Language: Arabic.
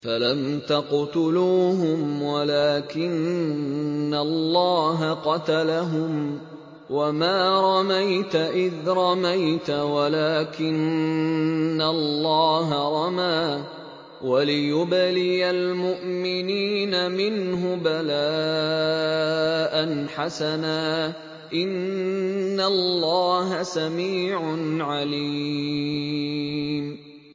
فَلَمْ تَقْتُلُوهُمْ وَلَٰكِنَّ اللَّهَ قَتَلَهُمْ ۚ وَمَا رَمَيْتَ إِذْ رَمَيْتَ وَلَٰكِنَّ اللَّهَ رَمَىٰ ۚ وَلِيُبْلِيَ الْمُؤْمِنِينَ مِنْهُ بَلَاءً حَسَنًا ۚ إِنَّ اللَّهَ سَمِيعٌ عَلِيمٌ